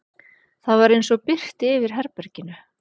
Það var eins og birti yfir herberginu.